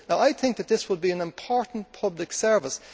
I think that this would be an important public service.